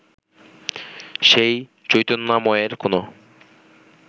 সেই চৈতন্যময়ের কোন